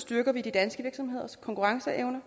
styrker vi de danske virksomheders konkurrenceevne